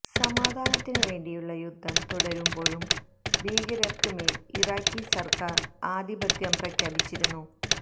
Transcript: സമാധാനത്തിന് വേണ്ടിയുള്ള യുദ്ധം തുടരുമ്പോഴും ഭീകരര്ക്ക് മേല് ഇറാഖി സര്ക്കാര് ആധിപത്യം പ്രഖ്യാപിച്ചിരുന്നു